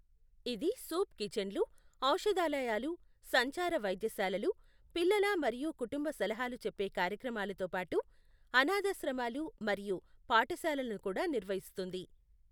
ఇది సూప్ కిచన్లు, ఔషధాలయాలు, సంచార వైద్యశాలలు, పిల్లల మరియు కుటుంబ సలహాలు చెప్పే కార్యక్రమాలతో పాటు, అనాథాశ్రమాలు మరియు పాఠశాలలను కూడా నిర్వహిస్తుంది.